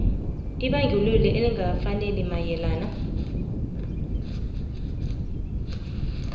ibandlululo elingakafaneli mayelana